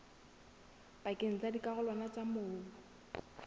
pakeng tsa dikarolwana tsa mobu